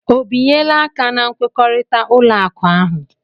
O binyela aka na nkwekọrịta ụlọ akụ ahụ?